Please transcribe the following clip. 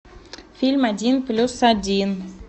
фильм один плюс один